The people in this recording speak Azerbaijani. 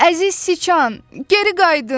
Əziz Siçan, geri qayıdın!